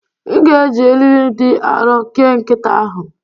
M ga-eji eriri dị arọ kee nkịta ahụ